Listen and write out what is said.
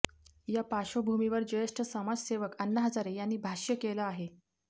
या पार्श्वभूमीवर ज्येष्ठ समाजसेवक अण्णा हजारे यांनी भाष्य केलं आहे